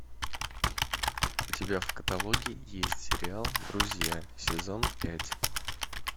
у тебя в каталоге есть сериал друзья сезон пять